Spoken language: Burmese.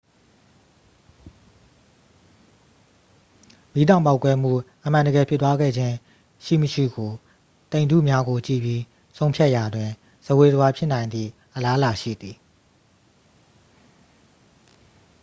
မီးတောင်ပေါက်ကွဲမှု အမှန်တကယ်ဖြစ်ပွားခဲ့ခြင်းရှိမရှိကို တိမ်ထုများကို ကြည့်ပြီး ဆုံးဖြတ်ရာတွင် ဇဝေဇဝါဖြစ်နိုင်သည့် အလားအလာရှိသည်